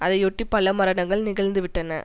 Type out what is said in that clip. அதையொட்டி பல மரணங்கள் நிகழ்ந்து விட்டன